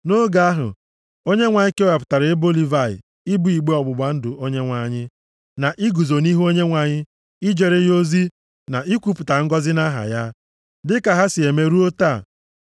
Nʼoge ahụ, Onyenwe anyị kewapụtara ebo Livayị ibu igbe ọgbụgba ndụ Onyenwe anyị, na iguzo nʼihu Onyenwe anyị ijere ya ozi na ikwupụta ngọzị nʼaha ya, dịka ha sị eme ruo taa.